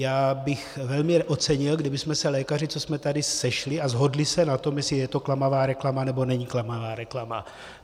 Já bych velmi ocenil, kdybychom se lékaři, co jsme tady, sešli a shodli se na tom, jestli je to klamavá reklama, nebo není klamavá reklama.